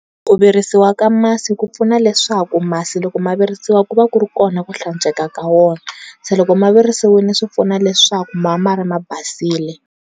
Ku vrisiwa ka masi ku pfuna leswaku masi loko ma virisiwa ku va ku ri kona ku hlantsweka ka wona se loko ma virisiwile swi pfuna leswaku ma va mka ri ma basile.